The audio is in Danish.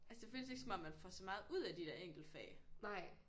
Altså det føles ikke som om man får så meget ud af de der enkeltfag